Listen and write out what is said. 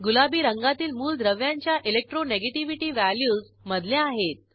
गुलाबी रंगातील मूलद्रव्यांच्या इलेक्ट्रोनेगेटिव्हिटी व्हॅल्यूज मधल्या आहेत